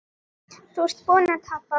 Þú ert búinn að tapa